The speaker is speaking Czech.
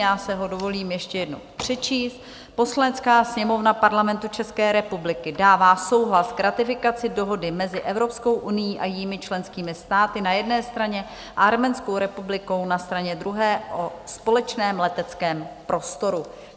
Já si ho dovolím ještě jednou přečíst: "Poslanecká sněmovna Parlamentu České republiky dává souhlas k ratifikaci Dohody mezi Evropskou unií a jejími členskými státy na jedné straně a Arménskou republikou na straně druhé o společném leteckém prostoru."